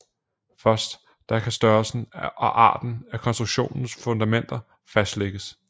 Først da kan størrelsen og arten af konstruktionens fundamenter fastlægges